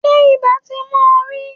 Ṣé ibà ti mú ọ rí?